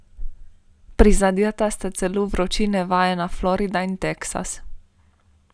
Prizadeta sta celo vročine vajena Florida in Teksas.